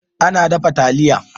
Ana dafa taliya.